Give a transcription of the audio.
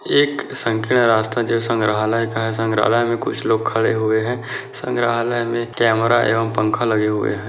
एक संकरा रास्ता जो संग्रहालय का है संग्राहलय में कुछ लोग खड़े हुए हैं संग्रहालय में कैमरा एवं पंखा लगे हुए हैं।